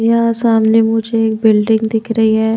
यहा सामने मुझे एक बिल्डिंग दिख रही है।